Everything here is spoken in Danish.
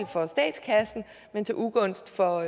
for statskassen men til ugunst for